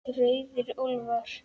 Rauðir úlfar